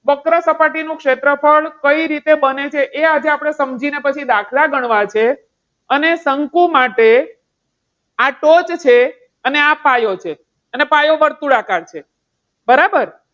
વક્ર સપાટી નું ક્ષેત્રફળ કઈ રીતે બને છે? એ આપણે સમજીને પછી દાખલા ગણવા છે. અને શંકુ માટે આ ટોચ છે અને આ પાયો છે અને પાયો વર્તુળાકાર છે. બરાબર?